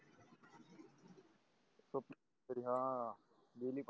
तरी हा